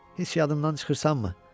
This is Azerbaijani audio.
Heç yadımdan çıxırsanmı?